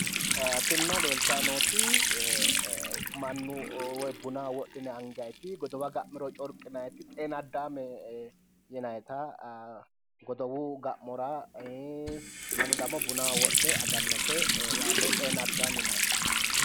tinino leeltayi nooti mannu woy bunaho wodhine angayiiti godowa ga'miro corqinayiiti xeenaddaame yinayiita godowu ga'mora mannu demmo bunaho wodhe agaate xeenaddaame yinayiite